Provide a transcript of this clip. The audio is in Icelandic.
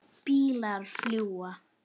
Bílar fljúga.